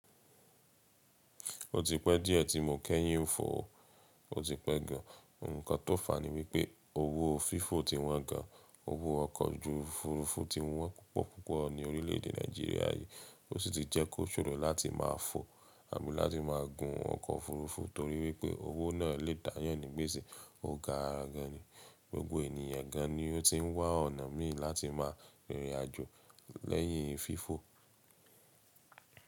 Ó ti pẹ́ díẹ̀ tí mò kẹ́yìn fò ó ti pẹ́ gan. Ǹǹkan tó fà ní wípé owó fífò ti wọ́n gan, owó ọkọ̀ ojú òfurufú ti wọ́n púpọ̀ púpọ̀ ní orílèèdè Nàìjíríà yìí ó sì ti jẹ́ kó ṣòro láti máa fò àbí láti máa gun ọkọ̀ òfurufú torí wípé owó náà lè dáyàn nígbèsì ó gara gan ni. Gbogbo ènìyàn gan ni ó ti ń wá ọ̀nà míì láti máa rìnrìn àjò lẹ́yìn fífò.